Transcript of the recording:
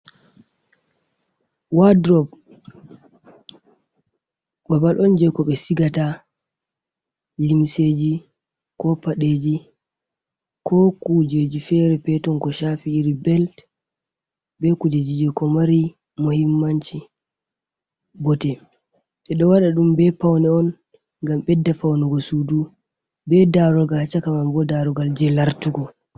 Waldrop babal on je ko be cigata limseji ko padeji ,ko kujeji fere peton ko shafi iri belt be kuje jije ko mari mohimmanci bote e do wada dum be paune on gam bedda faunugo sudu be darugal cakaman bo darugal je lartugo.